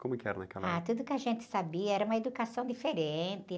Como é que era naquela época?h, tudo que a gente sabia, era uma educação diferente.